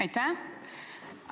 Aitäh!